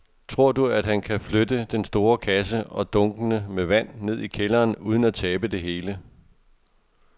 Tror du, at han kan flytte den store kasse og dunkene med vand ned i kælderen uden at tabe det hele?